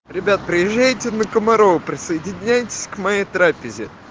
ребят приезжайте на комарова присоединяйтесь к моей трапезе